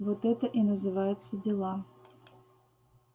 вот это и называется дела